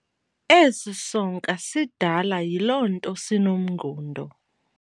Esi sonka sidala yiloo nto sinomngundo.